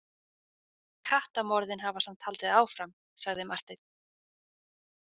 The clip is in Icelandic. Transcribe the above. Kattamorðin hafa samt haldið áfram, sagði Marteinn.